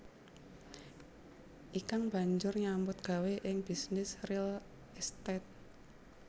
Ikang banjur nyambut gawé ing bisnis real estate